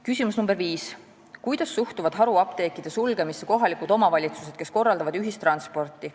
Küsimus nr 5: "Kuidas suhtuvad haruapteekide sulgemisse kohalikud omavalitsused, kes korraldavad ühistransporti?